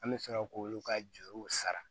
An bɛ sɔrɔ k'olu ka juruw sara